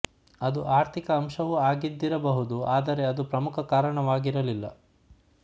ಅದು ಆರ್ಥಿಕ ಅಂಶವೂ ಆಗಿದ್ದಿರಬಹುದು ಆದರೆ ಅದು ಪ್ರಮುಖ ಕಾರಣವಾಗಿರಲಿಲ್ಲ